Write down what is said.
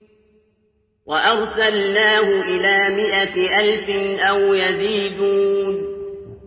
وَأَرْسَلْنَاهُ إِلَىٰ مِائَةِ أَلْفٍ أَوْ يَزِيدُونَ